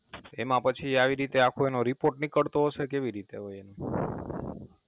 એમાં પછી આવીરીતે આખો એનો Report નીકળતો હશે કેવીરીતે હોય એમ